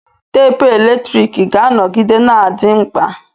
Teepu eletrik ga-anọgide na-adị mkpa.